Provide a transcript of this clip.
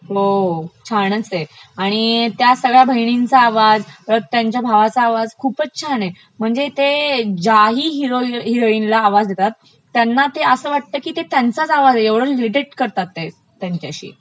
हो छानचं आहे, आणि त्या सगळ्या बहिनींचा आवाज, त्यांच्या भावाचा आवाज, खूपचं छान आहे, म्हणजे ते ज्याही हीरो हिरॉइनला आवाज देतात त्यांना ते असं वाटत की ते त्यंचाच आवाज आहे इतके ते इमिटेट करतात ते त्यांच्याशी .